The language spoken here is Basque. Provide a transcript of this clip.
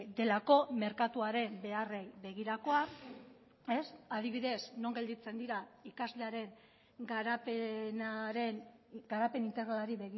delako merkatuaren beharrei begirakoa adibidez non gelditzen dira ikaslearen garapenaren garapen integralari